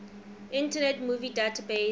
internet movie database